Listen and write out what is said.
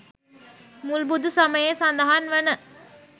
මුල් බුදු සමයේ සඳහන් වන